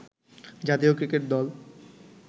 জাতীয় ক্রিকেট দল